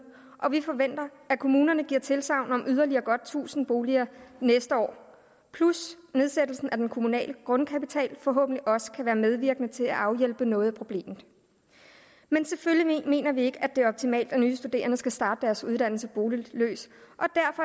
og vi forventer at kommunerne giver tilsagn om yderligere godt tusind boliger næste år nedsættelsen af den kommunale grundkapital kan forhåbentlig også være medvirkende til at afhjælpe noget af problemet men selvfølgelig mener vi ikke at det er optimalt at nye studerende skal starte deres uddannelse boligløse